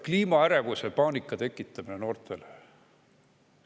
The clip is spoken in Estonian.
Kliimaärevuse ja ‑paanika tekitamine noortel.